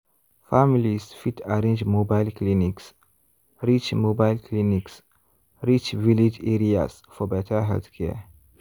families fit arrange mobile clinics reach mobile clinics reach village areas for better healthcare.